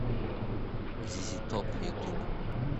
зизи топ ютуб